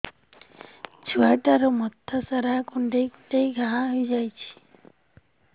ଛୁଆଟାର ମଥା ସାରା କୁଂଡେଇ କୁଂଡେଇ ଘାଆ ହୋଇ ଯାଇଛି